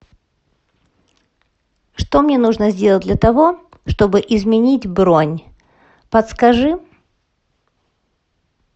что мне нужно сделать для того чтобы изменить бронь подскажи